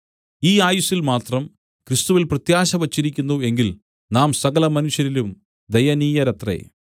ഈ ആയുസ്സിൽ മാത്രം ക്രിസ്തുവിൽ പ്രത്യാശ വച്ചിരിക്കുന്നു എങ്കിൽ നാം സകലമനുഷ്യരിലും ദയനീയരത്രേ